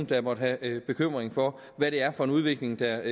der måtte være bekymret over hvad det er for en udvikling der